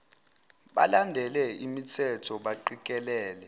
balandele imthetho baqikelele